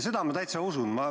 Seda ma täitsa usun.